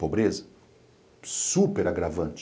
Pobreza super agravante.